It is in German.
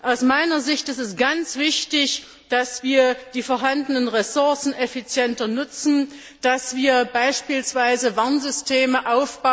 Aus meiner Sicht ist es ganz wichtig, dass wir die vorhanden Ressourcen effizienter nutzen, dass wir beispielsweise Warnsysteme auf bzw.